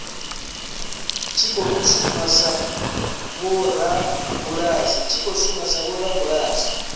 tshi khou shuma na vhorabulasi